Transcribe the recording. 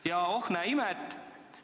Ja oh näe imet!